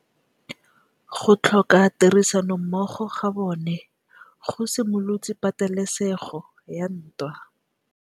Go tlhoka tirsanommogo ga bone go simolotse patêlêsêgô ya ntwa.